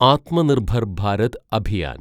Atmanirbhar Bharat Abhiyan